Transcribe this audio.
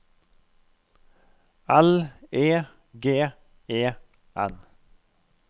L E G E N